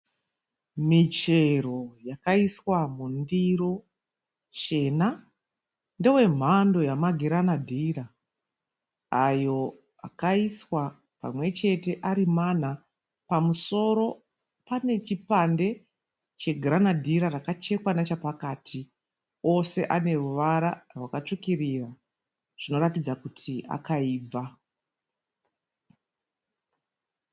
Michero yakaiswa mundiro chena ndewemhando yamagiranadhira ayo akaiswa pamwechete arimana. Pamusoro pane chipande chagiranadhira rakachekwa nepakati ose aneruvara rwakatsvukirira zvoratidza kuti akaibva.